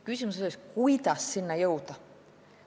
Küsimus on selles, kuidas selleni jõuda.